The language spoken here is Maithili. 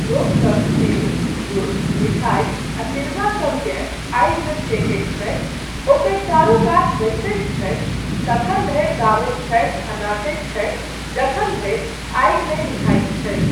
लोकसब तिल, गुड़, मिठाई आ तिलबा सभकेँ आगिमे फेकैत छथि, ओकर चारूकात बैसैत छथि, तखन धरि गाबैत छथि आ नाचैत छथि जखन धरि आगि नहि मिझाइत छै।